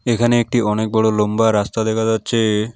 এখানে একটি অনেক বড়ো লম্বা রাস্তা দেখা যাচ্ছে।